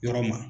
Yɔrɔ ma